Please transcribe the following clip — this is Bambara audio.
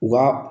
U ka